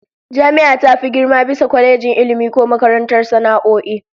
Jami'a ta fi girma bisa kwalejin Ilmi ko makarantar sana'o'i